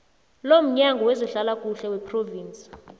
lomnyango wezehlalakuhle wephrovinsi